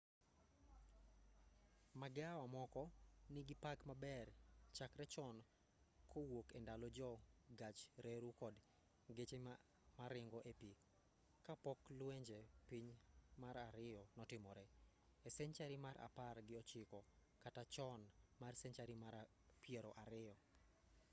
magawa moko nigi pak maber chakre chon kowuok endalo jo gach reru kod geche maringo e pi ka pok luenje piny mar ariyo notimre e senchari mar apar gi ochiko kata chon mar senchari mar piero ariyo